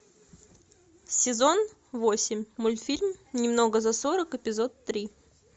сезон восемь мультфильм немного за сорок эпизод три